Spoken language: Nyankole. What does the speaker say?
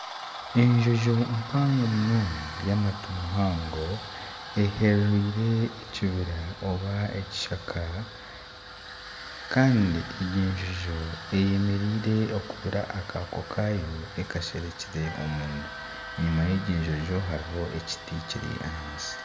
Enjojo mpango munonga y'amatu mahango, eherereire ekibira oba ekishaka kandi egi enjojo eyemereire reero ekubaire akaako kaayo ekasherekire omunda enyima y'ekijojo hariho ekiti kiri ahansi